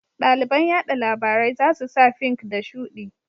Ɗaliban yaɗa labarai za su sa fink da shuɗi